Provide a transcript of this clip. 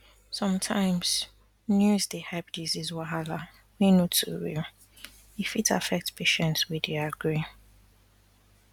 sometimes news dey hype disease wahala um wey no too real e fit affect patient wey dey agree